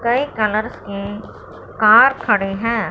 कई कलर्स के कार खड़े हैं।